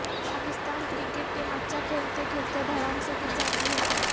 Pakistan cricket team اچھا کھیلتے کھیلتے دھڑام سے گر جاتی ہے